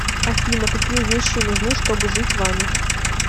афина какие вещи нужны чтобы жить вами